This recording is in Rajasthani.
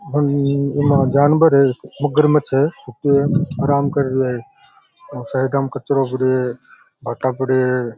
इमा जानवर है मगरमछ है ये आराम कर रियो है और सरे कचरो पड़े है भाटा पड़े है।